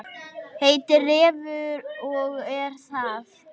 Heitir Refur og er það.